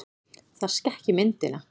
Það skekki myndina.